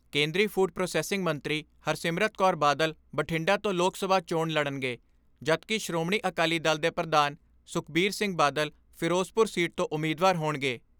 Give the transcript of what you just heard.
ਕੇਂਦਰੀ food processing ਮੰਤਰੀ ਹਰਸਿਮਰਤ ਕੌਰ ਬਾਦਲ ਬਠਿੰਡਾ ਤੋਂ ਲੋਕ ਸਭਾ ਚੋਣ ਲੜਨਗੇ ਜਦਕਿ ਸ਼੍ਰੋਮਣੀ ਅਕਾਲੀ ਦਲ ਦੇ ਪ੍ਰਧਾਨ ਸੁਖਬੀਰ ਸਿੰਘ ਬਾਦਲ ਫਿਰੋਜ਼ਪੁਰ ਸੀਟ ਤੋਂ ਉਮੀਦਵਾਰ ਹੋਣਗੇ।